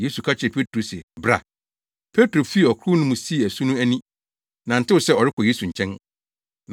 Yesu ka kyerɛɛ Petro se, “Bra!” Petro fii ɔkorow no mu sii asu no ani, nantew sɛ ɔrekɔ Yesu nkyɛn.